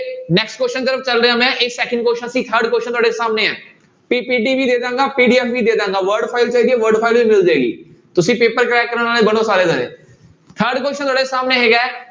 Next question ਤਰਫ਼ ਚੱਲ ਰਿਹਾਂ ਮੈਂ, ਇਹ second question ਸੀ third question ਤੁਹਾਡੇ ਸਾਹਮਣੇ ਹੈ PPT ਵੀ ਦੇ ਦੇਵਾਂਗੇ PDF ਵੀ ਦੇ ਦੇਵਾਂਗਾ word file ਚਾਹੀਦੀ ਹੈ word file ਵੀ ਮਿਲ ਜਾਏਗੀ, ਤੁਸੀਂ ਪੇਪਰ crack ਕਰਨ ਵਾਲੇ ਬਣੋ ਸਾਰੇ ਜਾਣੇ third question ਤੁਹਾਡੇ ਸਾਹਮਣੇ ਹੈਗਾ ਹੈ।